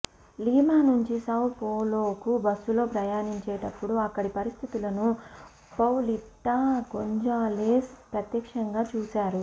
Lima నుంచి Sao పోలోకు బస్సులో ప్రయాణించేటప్పుడు అక్కడి పరిస్థితులను పౌలిటా గోంజాలెజ్ ప్రత్యక్షంగా చూశారు